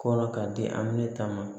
Kɔrɔ k'a di amina ta ma